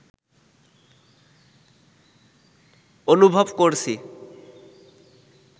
অনুভব করছি